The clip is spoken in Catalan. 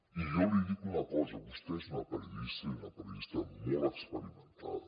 i jo li dic una cosa vostè és una periodista i una periodista molt experimentada